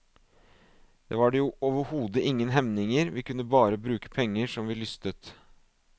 Der var det jo overhodet ingen hemninger, vi kunne bare bruke penger som vi lystet.